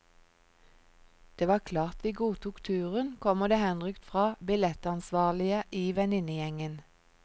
Det var klart vi godtok turen, kommer det henrykt fra billettansvarlige i venninnegjengen.